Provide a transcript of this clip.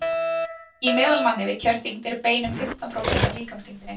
í meðalmanni við kjörþyngd eru bein um fimmtán prósent af líkamsþyngdinni